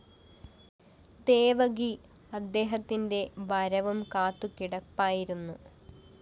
ദേവകി അദ്ദേഹത്തിന്റെ വരവും കാത്തുകിടപ്പായിരുന്നു